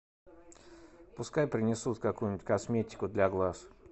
пускай принесут какую нибудь косметику для глаз